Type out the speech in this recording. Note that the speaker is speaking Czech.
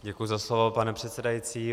Děkuji za slovo, pane předsedající.